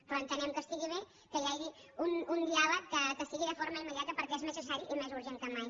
però entenem que està bé que hi hagi un diàleg que sigui de forma immediata perquè és més necessari i més urgent que mai